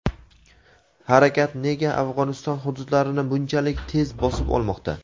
harakat nega Afg‘oniston hududlarini bunchalik tez bosib olmoqda?.